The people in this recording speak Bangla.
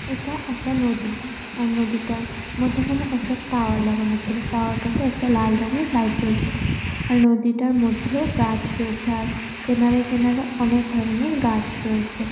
এটা একটা নদী আর নদীটার মধ্যেখানে একটা টাওয়ার লাগানো ছিল টাওয়ার - টা তে একটা লাল রঙের লাইট জ্বলছিল আর নদীটার মধ্যেও গাছ রয়েছে আর কিনারে কিনারে অনেক ধরণের গাছ রয়েছে।